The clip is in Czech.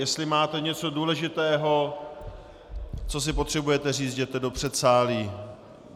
Jestli máte něco důležitého, co si potřebujete říct, jděte do předsálí.